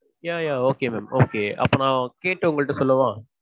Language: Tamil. yeah yeah okay ma'am okay. அப்போ நா கேட்டுட்டு உங்கள்ட்ட சொல்லவா?